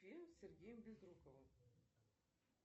фильм с сергеем безруковым